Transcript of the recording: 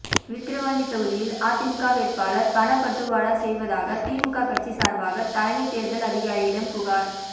விக்கிரவாண்டி தொகுதியில் அதிமுக வேட்பாளர் பணப்பட்டுவாடா செய்வதாக திமுக கட்சி சார்பாக தலைமைத் தேர்தல் அதிகாரியிடம் புகார்